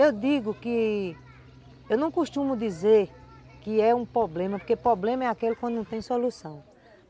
Eu digo que... Eu não costumo dizer que é um problema, porque problema é aquele quando não tem solução.